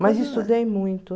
Mas estudei muito.